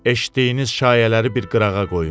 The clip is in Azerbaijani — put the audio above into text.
Eşitdiyiniz şayələri bir qırağa qoyun.